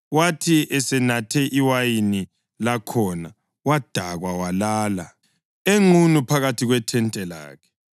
Wathi esenathe iwayini lakhona, wadakwa walala enqunu phakathi kwethente lakhe.